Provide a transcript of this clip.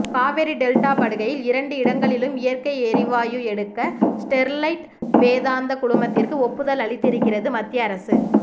Kaveri delta படுகையில் இரண்டு இடங்களில் இயற்கை எரிவாயு எடுக்க ஸ்டெர்லைட் வேதாந்தா குழுமத்திற்கு ஒப்புதல் அளித்திருக்கிறது மத்திய அரசு